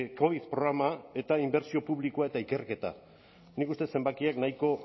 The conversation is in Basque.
covid programa eta inbertsio publikoa eta ikerketa nik uste dut zenbakiak nahiko